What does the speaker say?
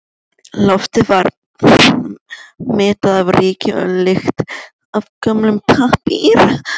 Loftið var mettað af ryki og lykt af gömlum pappír.